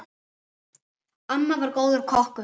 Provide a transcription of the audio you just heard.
Amma var góður kokkur.